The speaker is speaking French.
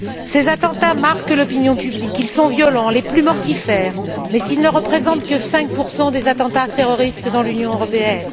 Ces attentats marquent l'opinion publique ils sont violents, les plus mortifères, mais ils ne représentent que 5 des attentats terroristes dans l'Union européenne.